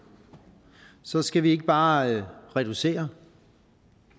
så skal vi ikke bare reducere